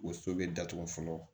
O so bɛ datugu fɔlɔ